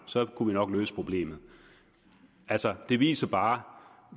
så kunne vi nok løse problemet altså det viser bare